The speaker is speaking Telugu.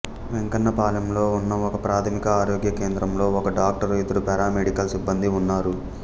వెంకన్నపాలెంలో ఉన్న ఒకప్రాథమిక ఆరోగ్య కేంద్రంలో ఒక డాక్టరు ఇద్దరు పారామెడికల్ సిబ్బందీ ఉన్నారు